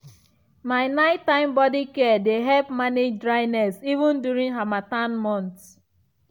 my night time body care dey help manage dryness even during harmattan months.